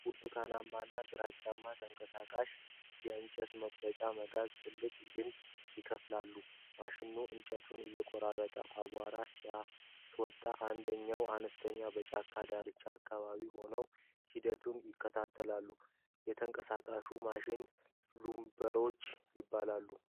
ብርቱካናማ እና ግራጫማ ተንቀሳቃሽ እንጨት መቁረጫ መጋዝ ትልቅ ግንድ ይከፋፍላል። ማሽኑ እንጨት እየቆረጠ አቧራ ሲያስወጣ፣ አንድ ሰራተኛ በጫካ ዳርቻው አካባቢ ሆኖ ሂደቱን ይከታተላል። የተንቀሳቃሹም ማሽን ሉምበርፕሮ ይባላል።